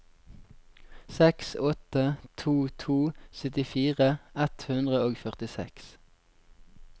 seks åtte to to syttifire ett hundre og førtiseks